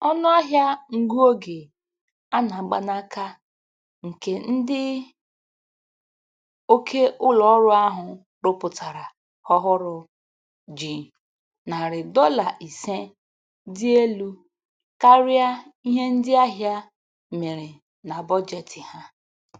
Ọnụahịa ngụ oge a na-agba n'aka nke ndị oke ụlọ ọrụ ahụ rụpụtara ọhụrụ ji narị dọla ise dị elu karịa ihe ndị ahịa mere na bọjetị ha